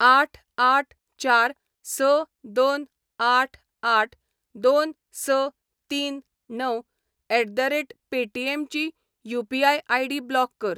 आठ आठ चार स दोन आठ आठ दोन स तीन णव एट द रेट पेटीएम ची यू.पी.आय. आय.डी. ब्लॉक कर.